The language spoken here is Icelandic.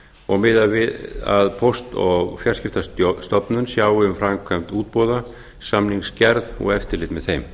og miðað við að póst og fjarskiptastofnun sjái um framkvæmd útboða samningsgerð og eftirlit með þeim